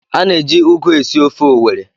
A na-eji ụgụ esi ofe owerri